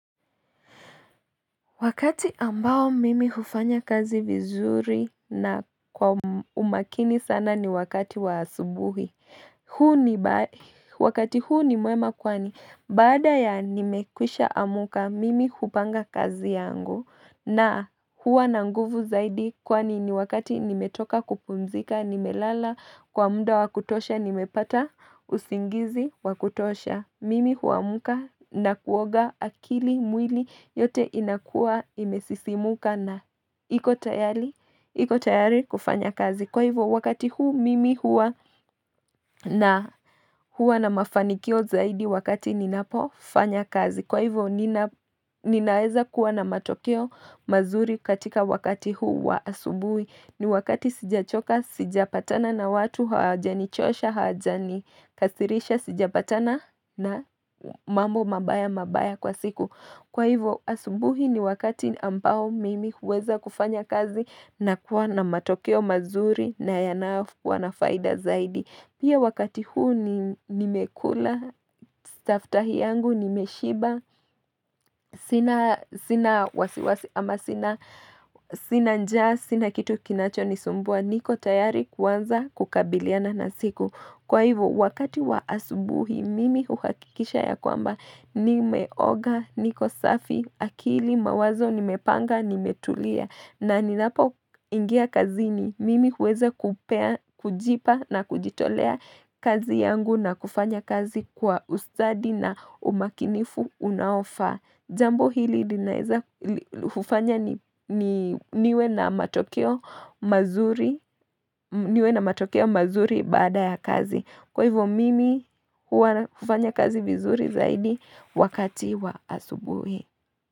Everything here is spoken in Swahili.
Wakati ambao mimi hufanya kazi vizuri na kwa umakini sana ni wakati wa asubuhi Wakati huu ni mwema kwani baada ya nimekwisha amuka mimi hupanga kazi yangu na huwa na nguvu zaidi kwani ni wakati nimetoka kupumzika, nimelala kwa mda wakutosha nimepata usingizi wakutosha. Mimi huamuka na kuoga akili mwili yote inakua imesisimuka na iko tayari iko tayari kufanya kazi. Kwa hivyo wakati huu mimi hua na, hua na mafanikio zaidi wakati ninapo fanya kazi. Kwa hivyo ninaeza kuwa na matokeo mazuri katika wakati huu wa asubui. Ni wakati sijachoka, sijapatana na watu, hawaja ni chosha, hawaja ni kasirisha, sijapatana na mambo mabaya mabaya kwa siku Kwa hivyo asubuhi ni wakati ambao mimi huweza kufanya kazi na kuwa na matokeo mazuri na yanayo kuwa na faida zaidi. Pia wakati huu nimekula, staftahi yangu, nimeshiba sina wasiwasi, sina njaa, sina kitu kinacho nisumbua, niko tayari kuwanza kukabiliana na siku. Kwa hivyo, wakati wa asubuhi, mimi huhakikisha ya kwamba ni meoga, niko safi, akili, mawazo, ni mepanga, ni metulia. Na ninapo ingia kazini, mimi huweza kujipa na kujitolea kazi yangu na kufanya kazi kwa ustadi na umakinifu unaofaa. Jambo hili hufanya niwe na matokeo niwe na matokio mazuri bada ya kazi. Kwa hivo mimi hufanya kazi vizuri zaidi wakati wa asubuhi.